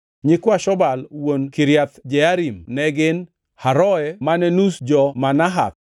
Nyikwa Shobal wuon Kiriath Jearim ne gin, Haroe mane nus jo-Manahath,